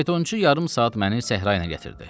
faytonçu yarım saat məni səhra ilə gətirdi.